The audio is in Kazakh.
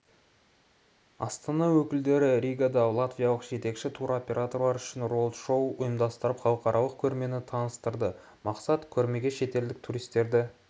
астана өкілдері ригада латвиялық жетекші туроператорлар үшін роуд-шоу ұйымдастырып халықаралық көрмені таныстырды мақсат көрмеге шетелдік туристерді